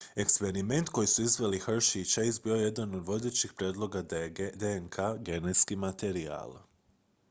eksperiment koji su izveli hershey i chase bio je jedan od vodećih prijedloga da je dnk genetski materijal